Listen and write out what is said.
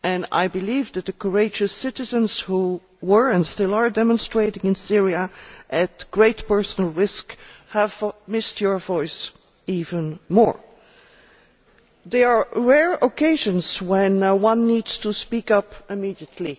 I believe that the courageous citizens who were and still are demonstrating in Syria at great personal risk have missed your voice even more. There are rare occasions when one needs to speak up immediately.